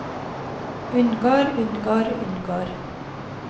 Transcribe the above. unngår unngår unngår